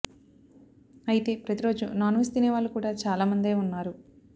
అయితే ప్రతి రోజు నాన్ వెజ్ తినే వాళ్లు కూడా చాలా మందే ఉన్నారు